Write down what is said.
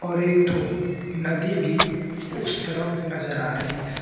और एक ठो नदी भी उस तरफ नजर आ रही है।